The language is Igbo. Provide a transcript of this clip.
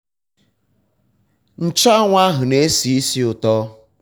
nchụanwụ ahụ na-esi ísì ụtọ.